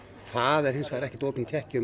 það er hins vegar ekkert opinn tékki